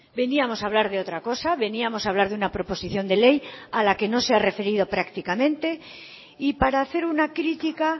veníamos a hablar de otra cosa veníamos a hablar de una proposición de ley a la que no se ha referido prácticamente y para hacer una crítica